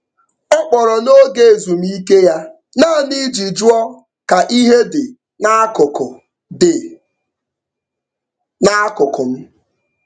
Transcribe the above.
Ọ kpọrọ n'oge ezumike ya naanị iji jụọ ka ihe dị n'akụkụ dị n'akụkụ m.